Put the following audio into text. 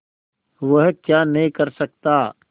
वह क्या नहीं कर सकता